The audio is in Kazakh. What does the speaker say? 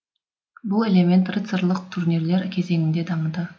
бұл элемент рыцарлық турнирлер кезіңде дамыды